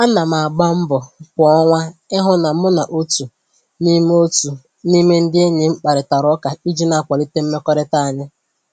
Ana m agba mbọ kwa ọnwa ịhụ na mụ na otu n'ime otu n'ime ndị enyi m kparịtara ụka iji na-akwalite mmekọrịta anyị